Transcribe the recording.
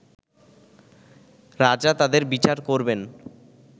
রাজা তাদের বিচার করবেন